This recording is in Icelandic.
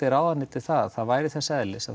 ráðuneytið það að það væri þess eðlis að